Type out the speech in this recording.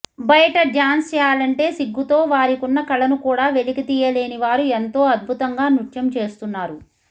బయట డ్యాన్స్ చేయాలంటే సిగ్గుతో వారికున్న కళను కూడా వెలికితీయలేని వారు ఎంతో అద్భుతంగా నృత్యం చేస్తున్నారు